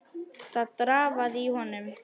Það drafaði í honum.